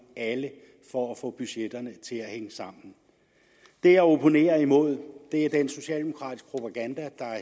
alle for at få budgetterne til at hænge sammen det jeg opponerer imod er den socialdemokratiske propaganda der